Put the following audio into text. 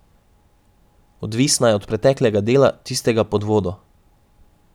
Odvisna je od preteklega dela, tistega pod vodo.